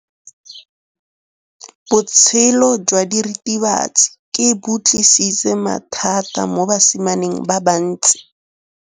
Botshelo jwa diritibatsi ke bo tlisitse mathata mo basimaneng ba bantsi.